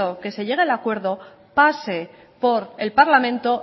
que se llegue al acuerdo pase por el parlamento